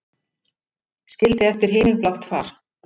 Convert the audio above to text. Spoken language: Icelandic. Skildi eftir himinblátt far.